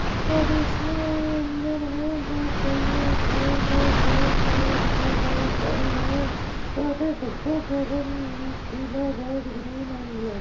और इसमें इंजन में दो पहिए साइड हैं। यहाँ पे डब्बों के रंग पीला रेड ग्रीन एंड ब्लैक --